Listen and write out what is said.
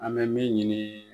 An bɛ min ɲini.